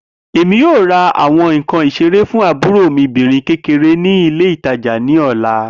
Emi yoo ra awọn nkan isere fun aburo obirin mi kekere ni ile itaja ni ọla.